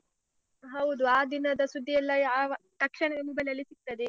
ಹೌದು, ಆ ದಿನದ ಸುದ್ದಿಯೆಲ್ಲ ಯಾವ ತಕ್ಷಣವೇ mobile ಅಲ್ಲಿ ಸಿಗ್ತದೆ.